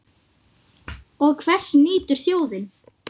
Og hvers nýtur þjóðin?